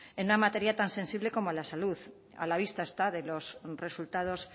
en una materia tan sensible como la salud a la vista está de los resultados